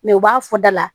Mɛ u b'a fɔ da la